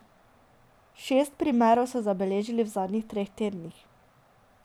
Šest primerov so zabeležili v zadnjih treh tednih.